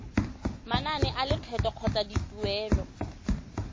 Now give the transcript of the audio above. manane a lekgetho kgotsa dituelo